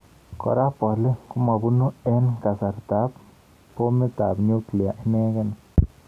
Kora bolik komabunu eng kasartab bomitab nuklia inegei